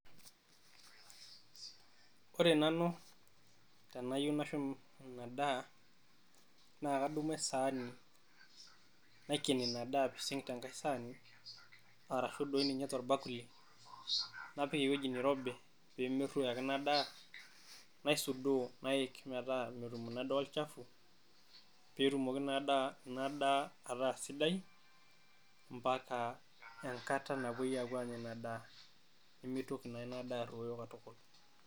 Ore nanu tenayieu nashum ina daa, naa kadumu esaani naiken ina daa apising te nkae saani arashu doi ninye tolbakuli. Napik ewueji nirobi pee merruoyo ake ina daa naisudoo nayik metaa metum ina daa olchafu. Pee etumoki ina daa ataa sidai mpaka enkata napuoi aanya ina daa, nimitoki naa ina daa arruoyo katukul.